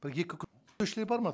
бір екі бар ма